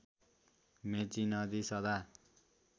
मेची नदी सदा